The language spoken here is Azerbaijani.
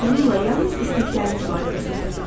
Onunla yalnız istəkləriniz barədə söhbət edin.